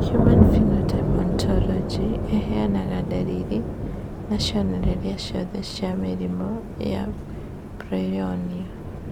Human Phenotype Ontology ĩheanaga ndariri na cionereria ciothe cia mũrimũ wa Peyronie